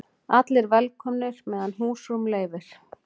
Allir velkomnir meðan húsrúm leyfir